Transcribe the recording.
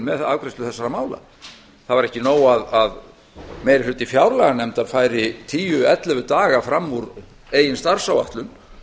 með afgreiðslu þessara mála það var ekki nóg að meiri hluti fjárlaganefndar færi tíu ellefu daga fram úr eigin starfsáætlun